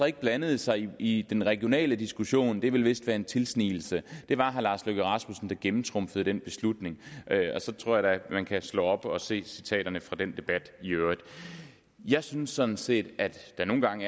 ikke blandede sig i den regionale diskussion vil vist være en tilsnigelse det var herre lars løkke rasmussen der gennemtrumfede den beslutning og så tror jeg da man kan slå op og se citaterne fra den debat i øvrigt jeg synes sådan set at der nogle gange